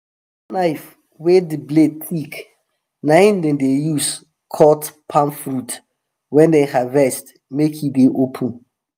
knife wey the blade thick na em dem dey use cut palm fruit wey dem harvest make em dey open.